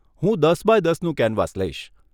હું દસ બાય દસનું કેનવાસ લઈશ.